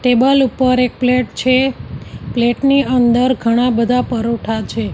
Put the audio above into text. Table ઉપર એક plate છે પ્લેટ ની અંદર ઘણા બધા પરોઠા છે.